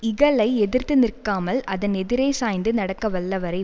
இகலை எதிர்த்து நிற்காமல் அதன் எதிரே சாய்ந்து நடக்க வல்லவரை